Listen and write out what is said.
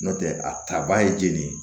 N'o tɛ a ta ba ye jeli ye